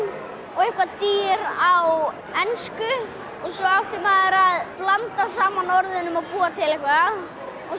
og dýr á ensku og svo átti maður að blanda saman orðunum og búa til eitthvað og